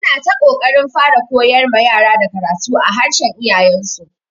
Ana ta ƙoƙarin fara koyar ma yara da karatu a harshen iyayen su.